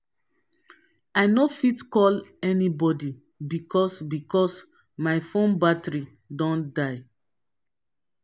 i no fit call anybodi because because my fone battery don die.